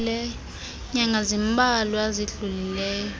nyanga zimbalwa zidlulileyo